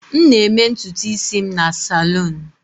M na-eme ntutu isi m na salon.